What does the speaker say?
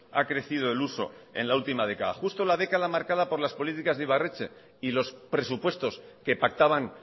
ha crecido el uso en la última década justo la década marcada por las políticas de ibarretxe y los presupuestos que pactaban